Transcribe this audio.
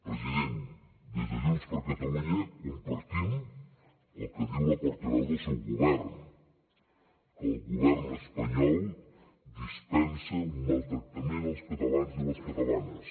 president des de junts per catalunya compartim el que diu la portaveu del seu govern que el govern espanyol dispensa un maltractament als catalans i les catalanes